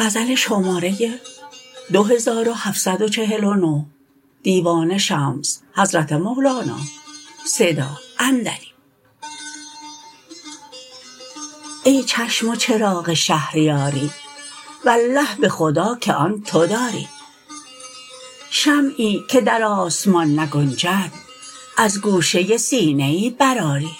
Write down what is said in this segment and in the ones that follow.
ای چشم و چراغ شهریاری والله به خدا که آن تو داری شمعی که در آسمان نگنجد از گوشه سینه ای برآری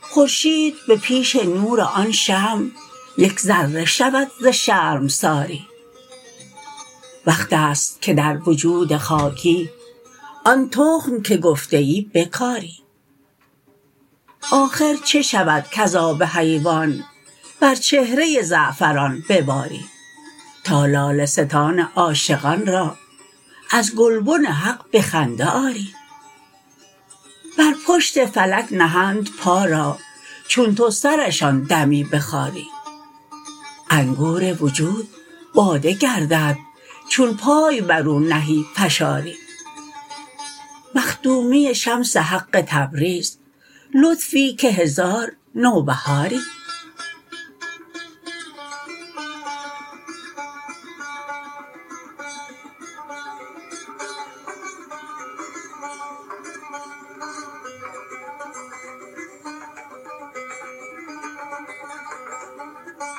خورشید به پیش نور آن شمع یک ذره شود ز شرمساری وقت است که در وجود خاکی آن تخم که گفته ای بکاری آخر چه شود کز آب حیوان بر چهره زعفران بباری تا لاله ستان عاشقان را از گلبن حق به خنده آری بر پشت فلک نهند پا را چون تو سرشان دمی بخاری انگور وجود باده گردد چون پای بر او نهی فشاری مخدومی شمس حق تبریز لطفی که هزار نوبهاری